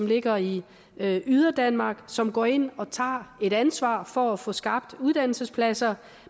ligger i yderdanmark som går ind og tager et ansvar for at få skabt uddannelsespladser